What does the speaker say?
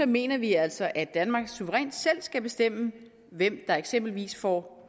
mener vi altså at danmark suverænt selv skal bestemme hvem der eksempelvis får